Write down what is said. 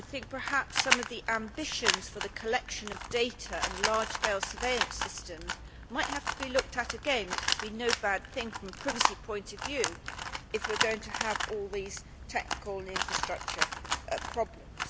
Perhaps some of the ambitions for the collection of data and large scale surveillance systems might have to be looked at again, which would be no bad thing from the privacy point of view if we are going to have all these technical and infrastructure problems.